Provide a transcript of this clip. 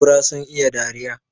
Kura sun iya dariya